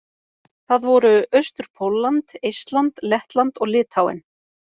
Það voru: Austur-Pólland, Eistland, Lettland og Litháen.